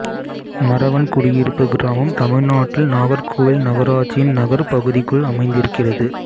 மறவன்குடியிருப்பு கிராமம் தமிழ்நாட்டில் நாகர்கோயில் நகராட்சியின் நகர்ப் பகுதிக்குள் அமைந்திருக்கிறது